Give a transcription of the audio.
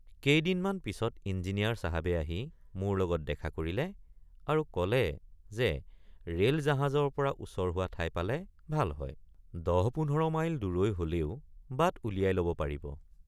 কেইদিনমান পিচত ইঞ্জিনিয়াৰ চাহাবে আহি মোৰ লগত দেখা কৰিলে আৰু কলে যে ৰেলজাহাজৰপৰা ওচৰ হোৱা ঠাই পালে ভাল হয় ১০।১৫ মাইল দূৰৈ হলেও বাট উলিয়াই লব পাৰিব।